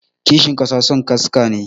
Kishin kasa son kasarka ne.